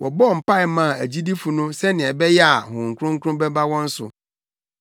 Woduu hɔ no, wɔbɔɔ mpae maa agyidifo no sɛnea ɛbɛyɛ a Honhom Kronkron bɛba wɔn so,